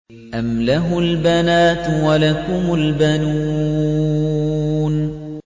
أَمْ لَهُ الْبَنَاتُ وَلَكُمُ الْبَنُونَ